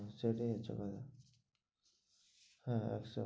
সেটাই হচ্ছে কথা. হ্যাঁ,